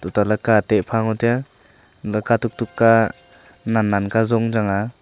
tuta laka ee teh pha ngo taya antole katuk tukka nan nan ka zong chang aa.